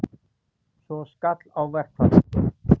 Svo skall á verkfall.